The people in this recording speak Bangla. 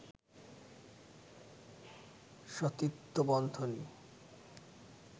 সতীত্ব বন্ধনী